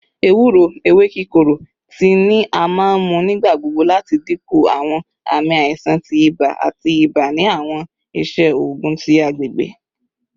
Ewuro (ewe kikoro) tii ni a maa n mu nigbagbogbo lati dinku awọn aami aisan ti iba ati iba ni awọn iṣe oogun ti agbegbe